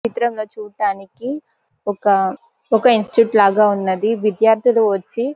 ఈ చిత్రం లో చూట్టానికి ఒక ఒక ఇన్స్టిట్యూట్ లాగ ఉన్నది విద్యార్దులు వచ్చి--